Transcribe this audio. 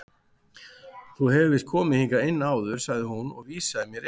Þú hefur víst komið hingað inn áður sagði hún og vísaði mér inn.